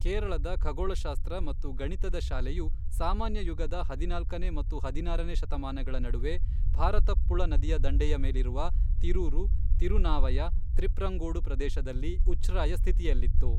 ಕೇರಳದ ಖಗೋಳಶಾಸ್ತ್ರ ಮತ್ತು ಗಣಿತದ ಶಾಲೆಯು ಸಾಮಾನ್ಯ ಯುಗದ ಹದಿನಾಲ್ಕನೇ ಮತ್ತು ಹದಿನಾರನೇ ಶತಮಾನಗಳ ನಡುವೆ ಭಾರತಪ್ಪುಳ ನದಿಯ ದಂಡೆಯ ಮೇಲಿರುವ ತಿರೂರು, ತಿರುನಾವಯ, ತ್ರಿಪ್ರಂಗೋಡು ಪ್ರದೇಶದಲ್ಲಿ ಉಚ್ಛ್ರಾಯ ಸ್ಥಿತಿಯಲ್ಲಿತ್ತು.